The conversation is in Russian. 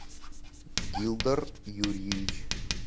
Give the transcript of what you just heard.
гилдар юрьевич